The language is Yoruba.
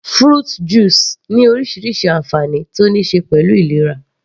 Fruit juice ní orísirísi ànfàní tó níí ṣe pẹ̀lú ìlera